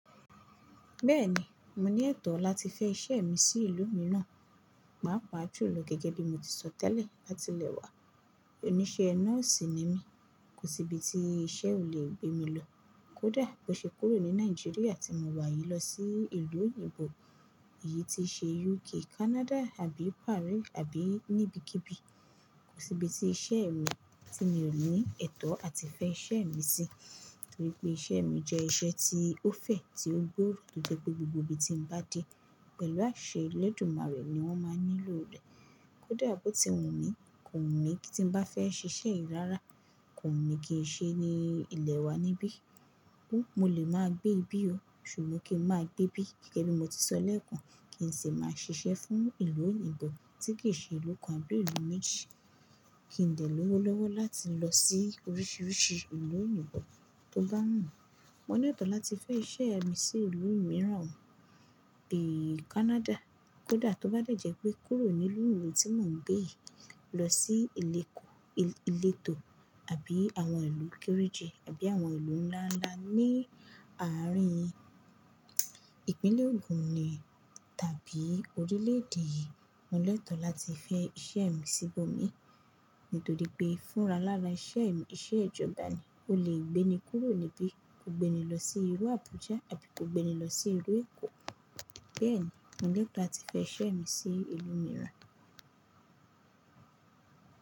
Bẹ́ẹ̀ni, mo ní ẹ̀tọ́ láti fẹ́ iṣẹ́ mi sí ìlú mìíràn, pàápàá àjùlọ gẹ́gẹ́ bí mo ti sọ tẹ́lẹ̀ láti ilẹ̀ wa. Òníṣẹ́ nọ́ọ̀sì ni mí, kò sí ibi tí iṣẹ́ ò lè gbé mi lọ. Kódà bó ṣe kúrò ní Nàìjíríà tí mo wà yìí lọ sí ìlú òyìnbó, èyí ti í ṣe UK, Canada, àbí Paris, àbí níbikíbi, kò sí ibi tí iṣẹ́ mi tí mi ò ní ẹ̀tọ́ àti fẹ́ iṣẹ́ mi sí, nítorí pé iṣẹ́ mi jẹ́ iṣẹ́ tí ó fẹ̀, tí ó gbòòrò lóde pé gbogbo ibi tí n bá dé pẹ̀lú àṣẹ ilédùmarè ni wọ́n máa nílò rẹ̀. Kódà bó ti wù mí, kò wùn mí kí tí n bá fẹ́ ṣiṣẹ́ yi rára, kò wùn mí kí n ṣe ní ilẹ̀ wa níbí. Ó, mo lè máa gbé ibí o, ṣùgbọ́n kí n máa gbé bí gẹ́gẹ́ bí mo ti sọ lẹ́ẹ̀kan, kì í ṣe màá ṣiṣẹ́ fún ìlú òyìnbó tí kì í ṣe ìlú kan àbí ìlú méjì. Kì í n de lówó lọ́wọ́ láti lọ sí oríṣiríṣi ìlú òyìnbó tó bá wùn mi Mo ní ẹ̀tọ́ láti fẹ́ iṣẹ́ mi sí ìlú mìíràn o, èyí Canada. Kódà tó bá jẹ́ pé kúrò nílùú ìlú tí mò ń gbé yìí lọ sí ìlú èkó, ìletò àbí àwọn ìlú kéérèje, àbí àwọn ìlú ńláńlá ní àárín ìpínlẹ̀ ògun ni tàbí orílẹ̀èdè yìí, mo ní ẹ̀tọ́ láti fẹ́ iṣẹ́ mi síbò mí. Nítorí pé fúnra lára iṣẹ́ mi, iṣẹ́ ìjọba ni, o lè gbé mi kúrò níbí, ó gbé ni lọ sí ìlú Abuja àbí kó gbé ni lọ sí ìlú Èkó. Bẹ́ẹ̀ni, mo ní ẹ̀tọ́ láti fẹ iṣẹ́ mi sí ìlú mìíràn.